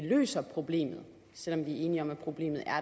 løser problemet selv om vi er enige om at problemet er